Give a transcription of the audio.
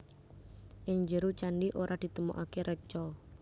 Ing njero candhi ora ditemokaké reca